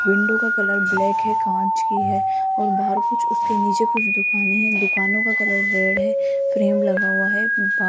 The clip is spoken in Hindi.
विंडो का कलर ब्लैक है कांच की है और बाहर कुछ उसके नीचे कुछ दुकाने है दुकानों का कलर रेड है फ्रेम लगा हुआ है बा --